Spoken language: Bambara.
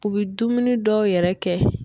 U bi dumuni dɔw yɛrɛ kɛ